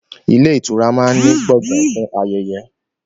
Ilé ìtura máa ń ní Gbọ̀ngán fún ayẹyẹ